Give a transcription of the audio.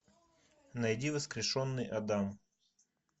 найди воскрешенный адам